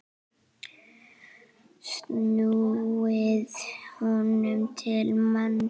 snúið honum til manns.